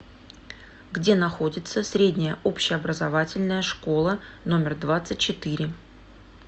где находится средняя общеобразовательная школа номер двадцать четыре